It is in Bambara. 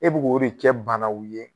E b'o k'o de kɛ banaw ye